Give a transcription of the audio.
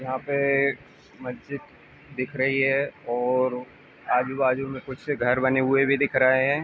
यहाँ पे मस्जित दिख रही है और आजू-बाजु में कुछ घर बने हुए भी दिख रहे हैं।